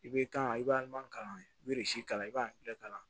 I bɛ kan i b'a kalan i bɛ kalan i b'a bɛɛ kalan